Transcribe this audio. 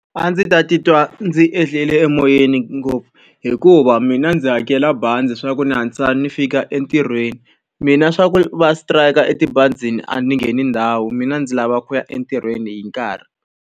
A ndzi ta titwa ndzi ehlie emoyeni ngopfu hikuva mina ndzi hakela bazi leswaku ni hatlisa ni fika entirhweni. Mina leswaku va strike-a etibazini a ni ngheni ndhawu mina ndzi lava ku ya entirhweni hi nkarhi.